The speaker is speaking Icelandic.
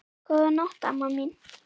Góða nótt, amma mín.